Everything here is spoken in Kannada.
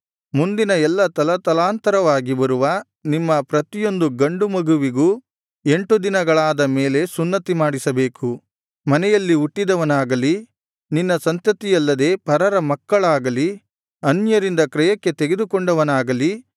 ಮುಂದಿನ ಎಲ್ಲಾ ತಲತಲಾಂತರವಾಗಿ ಬರುವ ನಿಮ್ಮ ಪ್ರತಿಯೊಂದು ಗಂಡು ಮಗುವಿಗೂ ಎಂಟು ದಿನಗಳಾದ ಮೇಲೆ ಸುನ್ನತಿ ಮಾಡಿಸಬೇಕು ಮನೆಯಲ್ಲಿ ಹುಟ್ಟಿದವನಾಗಲಿ ನಿನ್ನ ಸಂತತಿಯಲ್ಲದೆ ಪರರ ಮಕ್ಕಳಾಗಲಿ ಅನ್ಯರಿಂದ ಕ್ರಯಕ್ಕೆ ತೆಗೆದುಕೊಂಡವನಾಗಲಿ